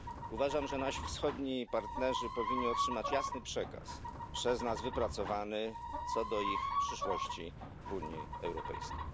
Uważam, że nasi wschodni partnerzy powinni otrzymać jasny przekaz przez nas wypracowany, co do ich przyszłości w Unii Europejskiej.